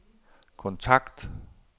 kontakt